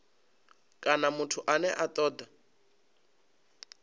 kana muthu ane a toda